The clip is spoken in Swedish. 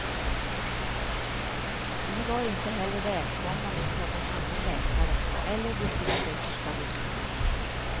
Vi var inte heller välkomna hos någon annan läkare eller distriktssköterska vid mottagningen.